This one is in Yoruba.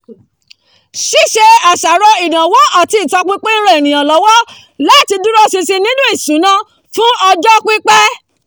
ṣíṣe àṣàrò ìnáwó àti ìtọpinpin ń ran ènìyàn lọ́wọ́ láti dúró ṣinṣin nínú ìṣúná fún ọjọ́ pípẹ́